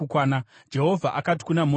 Jehovha akati kuna Mozisi,